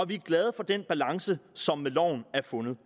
vi er glade for den balance som er fundet